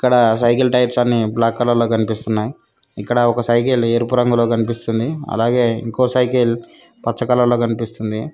ఇక్కడ cycle tyres అన్నీ black colour లో కానియస్తున్నాయ్ ఇక్కడ ఒక సైకిల్ ఎరుపు రంగులో కనిపిస్తుంది అలాగే ఇంకో సైకిల్ పచ్చ కలర్ లో కనిపిస్తుంది.